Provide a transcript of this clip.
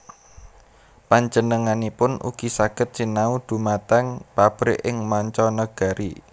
Panjenenganipun ugi saged sinau dhumateng pabrik ing manca nagari